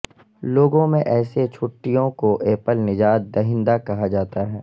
لوگوں میں ایسے چھٹیوں کو ایپل نجات دہندہ کہا جاتا ہے